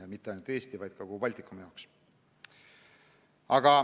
Ja mitte ainult Eesti, vaid kogu Baltikumi jaoks.